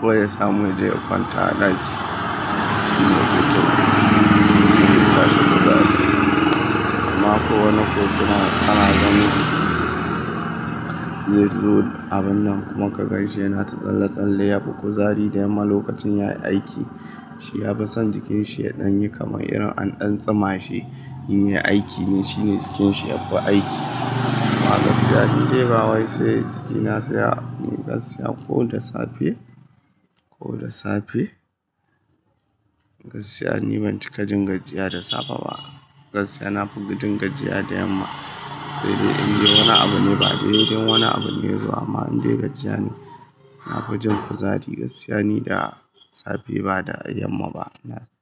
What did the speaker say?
ko ya samu ya je ya kwanta a ɗaki. Shi ne hutun da zai sashi gajiyar. Amma ko wani ko kuma ana ganin weight load abun nan kuma ka gaishe yana ta tsalle-tsalle. Ya fi kuzari da yamma lokacin yayi aiki. Shi ya fi son jikinshi ya ɗan yi kamar irin an ɗan tsama shi, in ya yi aiki ne, shi ne jikinshi yafi aiki. Amma gaskiya in dai ba wai sai jikina saya, gaskiya ko da safe, ko da safe, gaskiya ni ban cika jin gajiya da safe ba. Gaskiya na fi jin gajiya da yamma. Sai dai in dai wani abu ne ba dai dun, in dai wani abu ne ba addu'a. Amma in dai gajiya ne, na fi jin kuzari gaskiya ni da safe ba da yamma ba.